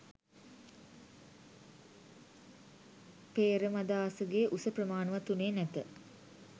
පේ්‍රමදාසගේ උස ප්‍රමාණවත් වුණේ නැත